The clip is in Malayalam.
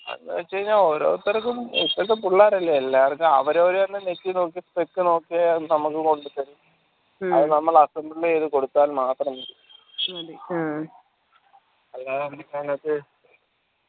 അതെന്ന് വെച്ച് കയ്‌ന ഓരോരുത്തർക്കും ഇപ്പത്തെ പുള്ളേരല്ലേ എല്ലാവർക്കും അവരവരെന്നെ നെക്കി നോക്കി നീക്കി നോക്കി അവരെന്നെ നമ്മക്ക് കൊണ്ട് തരും അതിൽ നമ്മള് assemble യ്ത് കൊടുത്താൽ മാത്രം മതി